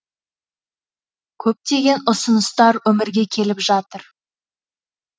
көптеген ұсыныстар өмірге келіп жатыр